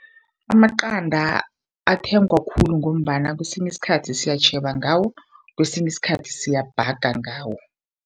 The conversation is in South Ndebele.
Amaqanda athengwa khulu ngombana kwesinye isikhathi siyatjheba ngawo kwesinye isikhathi siyabhaga ngawo.